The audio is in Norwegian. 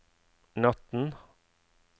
natten